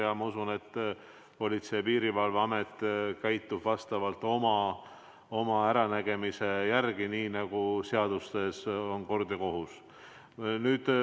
Ja ma usun, et Politsei- ja Piirivalveamet tegutseb oma äranägemise järgi, nii nagu seaduse järgi on kord ja kohus.